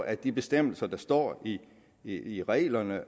at de bestemmelser der står i i reglerne